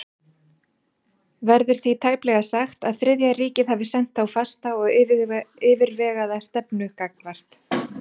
Verður því tæplega sagt, að Þriðja ríkið hafi þá haft fasta og yfirvegaða stefnu gagnvart